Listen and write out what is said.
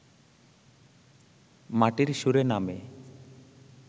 মাটির সুরে নামে